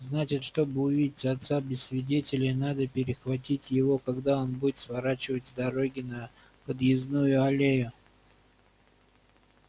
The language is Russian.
значит чтобы увидеть отца без свидетелей надо перехватить его когда он будет сворачивать с дороги на подъездную аллею